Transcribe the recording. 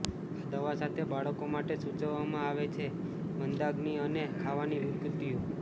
આ દવા સાથે બાળકો માટે સૂચવવામાં આવે છે મંદાગ્નિ અને ખાવાની વિકૃતિઓ